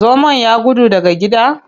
Zomon ya gudu daga gida.